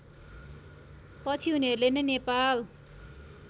पछि उनीहरूले नै नेपाल